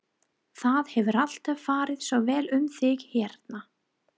Það hefur alltaf farið svo vel um þig hérna.